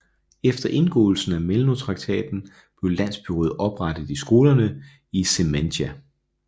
Efter indgåelsen af Melno traktaten blev landsbyråd oprettet i skovene i Žemaitija